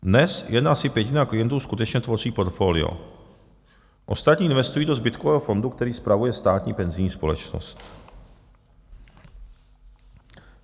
Dnes jen asi pětina klientů skutečně tvoří portfolio, ostatní investují do zbytkového fondu, který spravuje Státní penzijní společnost.